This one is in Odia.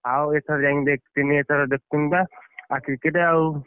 ଆଉ ଏଥର ଯାଇକି ଦେଖିଥିନି ଏଥର ଦେଖୁନୁ ବା ଆଉ cricket ଆଉ,